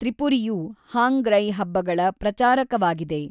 ತ್ರಿಪುರಿಯು ಹಾಂಗ್ರೈ ಹಬ್ಬಗಳ ಪ್ರಚಾರಕವಾಗಿದೆ.